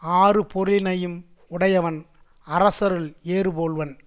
ஆறுபொருளினையும் உடையவன் அரசருள் ஏறுபோல்வன்